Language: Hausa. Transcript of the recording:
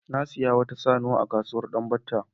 Na sayi wata saniya a kasuwar Danbatta.